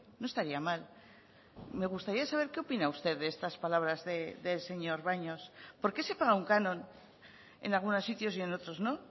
no estaría mal me gustaría saber qué opina usted de estas palabras del señor baños por qué se paga un canon en algunos sitios y en otros no